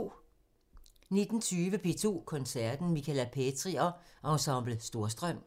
19:20: P2 Koncerten – Michala Petri og Ensemble Storstrøm